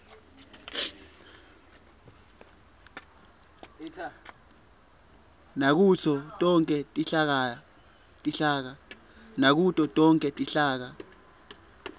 nakuto tonkhe tinhlaka